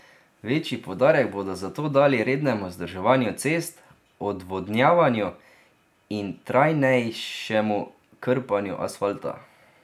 Večji poudarek bodo zato dali rednemu vzdrževanju cest, odvodnjavanju in trajnejšemu krpanju asfalta.